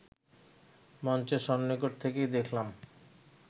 মঞ্চের সন্নিকট থেকেই দেখলাম